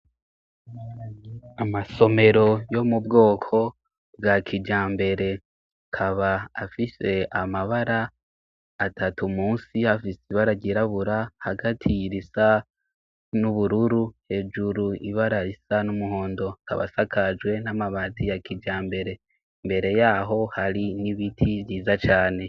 Amasomero yo mu bwoko bwa kija mbere kaba afise amabara atatu musi hafise ibara ryirabura hagatira isa n'ubururu hejuru ibara isa n'umuhondo kabasakajwe n'amabati ya kija mbere mbere yaho hari n'ibiti vyiza cane.